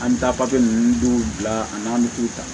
An bɛ taa papiye ninnu dɔw bila an n'an bɛ k'u ta